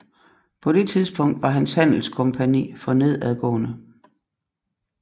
På det tidspunkt var hans handelskompagni for nedadgående